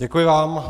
Děkuji vám.